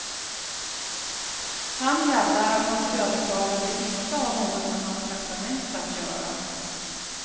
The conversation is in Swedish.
Han hävdar att hans överklagande inte har något med hans traktamente att göra.